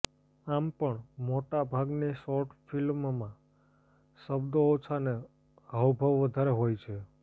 આમ પણ મોટાં ભાગની શોટૅ ફિલ્મોમાં શબ્દો ઓછા ને હાવભાવ વધારે હોય છે